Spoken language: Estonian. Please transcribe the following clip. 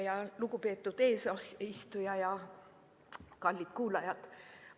Lugupeetud eesistuja ja kallid kuulajad!